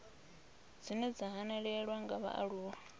dzine dza hanelelwa nga vhaaluwa